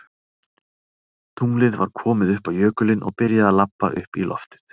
Tunglið var komið upp á jökulinn og byrjaði að labba upp í loftið.